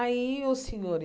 Aí, o senhor